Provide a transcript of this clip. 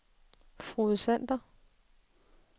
Frode Sander